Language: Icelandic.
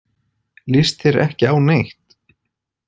Líst þér ekki á neitt?